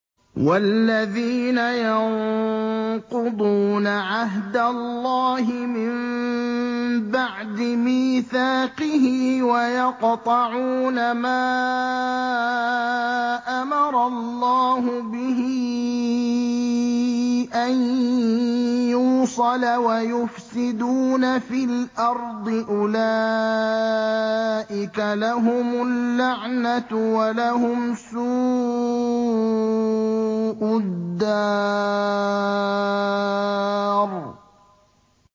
وَالَّذِينَ يَنقُضُونَ عَهْدَ اللَّهِ مِن بَعْدِ مِيثَاقِهِ وَيَقْطَعُونَ مَا أَمَرَ اللَّهُ بِهِ أَن يُوصَلَ وَيُفْسِدُونَ فِي الْأَرْضِ ۙ أُولَٰئِكَ لَهُمُ اللَّعْنَةُ وَلَهُمْ سُوءُ الدَّارِ